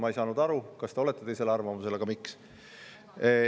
Ma ei saanud aru, kas te olete teisel arvamusel, aga miks?